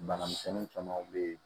Bana misɛnnin caman be yen